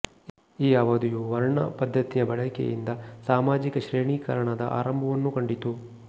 ಈ ಅವಧಿಯು ವರ್ಣ ಪದ್ಧತಿಯ ಬಳಕೆಯಿಂದ ಸಾಮಾಜಿಕ ಶ್ರೇಣೀಕರಣದ ಆರಂಭವನ್ನೂ ಕಂಡಿತು